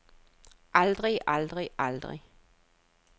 aldrig aldrig aldrig